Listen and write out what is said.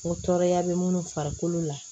O tɔɔrɔya bɛ minnu farikolo la